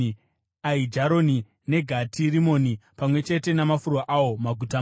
Aijaroni, neGati Rimoni pamwe chete namafuro awo, maguta mana.